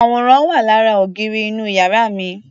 Àwòrán wà lára ògiri inú yàrá mi.